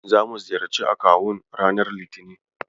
Zamu ziyarci akawun ranar Litinin.